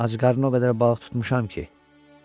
Acqarnına o qədər balıq tutmuşam ki.